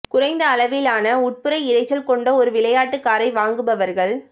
குறைந்த அளவிலான உட்புற இரைச்சல் கொண்ட ஒரு விளையாட்டு காரை வாங்குபவர்கள்